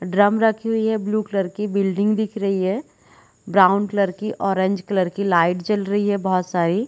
drum रखी हुई है ब्लू कलर की बिल्डिंग दिख रही है ब्राउन कलर की ऑरेंज कलर की लाइट जल रही है बहोत सारी--